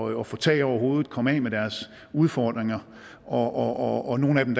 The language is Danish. at få tag over hovedet komme af med deres udfordringer og og nogle af dem